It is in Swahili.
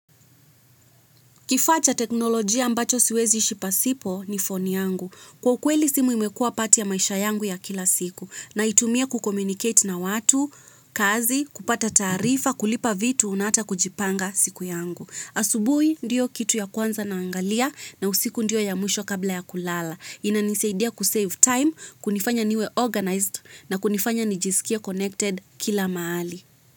Kifaa cha teknolojia ambacho siwezi ishi pasipo ni phone yangu. Kwa ukweli simu imekuwa part ya maisha yangu ya kila siku. Naitumia kucommunicate na watu, kazi, kupata taarifa, kulipa vitu, na ata kujipanga siku yangu. Asubuhi ndio kitu ya kwanza naangalia, na usiku ndio ya mwisho kabla ya kulala. Inanisaidia kusave time, kunifanya niwe organized na kunifanya nijisikie connected kila mahali.